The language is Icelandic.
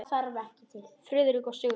Friðrik og Sigrún.